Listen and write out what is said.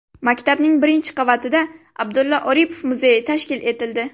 Maktabning birinchi qavatida Abdulla Oripov muzeyi tashkil etildi.